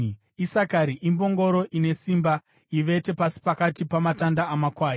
“Isakari imbongoro ine simba, ivete pasi pakati pamatanga amakwai.